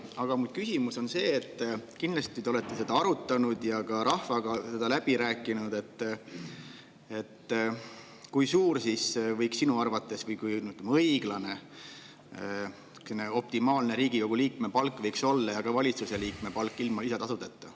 Aga minu küsimus on see – kindlasti te olete seda arutanud ja ka rahvaga läbi rääkinud –, et kui suur võiks sinu arvates olla õiglane, optimaalne Riigikogu liikme palk ja ka valitsuse liikme palk ilma lisatasudeta.